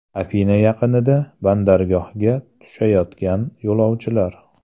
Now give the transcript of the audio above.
Afina yaqinida bandargohga tushayotgan yo‘lovchilar.